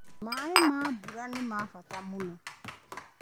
Maĩ ma mbura nĩmabata mũno.